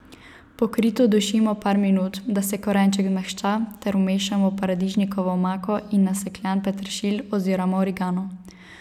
Pokrito dušimo par minut, da se korenček zmehča, ter vmešamo paradižnikovo omako in nasekljan peteršilj oziroma origano.